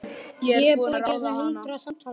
Ég er búin að ráða hana!